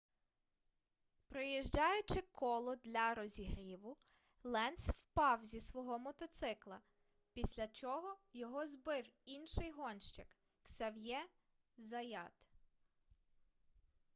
проїжджаючи коло для розігріву ленц впав зі свого мотоцикла після чого його збив інший гонщик ксав'є заят